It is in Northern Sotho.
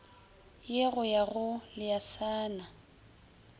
ye go ya go leasana